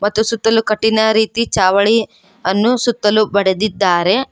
ಮತ್ತು ಸುತ್ತಲು ಕಟ್ಟಿನ ರೀತಿ ಚಾವಳಿ ಅನ್ನು ಸುತ್ತಲು ಬಡೆದಿದ್ದಾರೆ.